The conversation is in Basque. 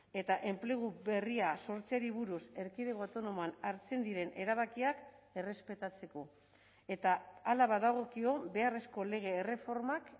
eta enplegu berria sortzeari buruz erkidego autonomoan hartzen diren erabakiak errespetatzeko eta hala badagokio beharrezko lege erreformak